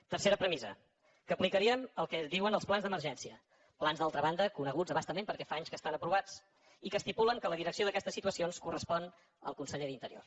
tercera premissa que aplicaríem el que diuen els plans d’emergència plans d’altra banda coneguts a bastament perquè fa anys que estan aprovats i que estipulen que la direcció d’aquestes situacions correspon al conseller d’interior